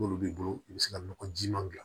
N'olu b'i bolo i bɛ se ka nɔgɔji ma gilan